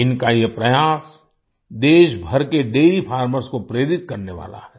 इनका यह प्रयास देशभर के डैरी फार्मर्स को प्रेरित करने वाला है